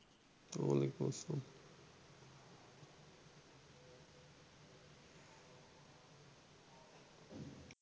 ওয়ালাইকুম আসসালাম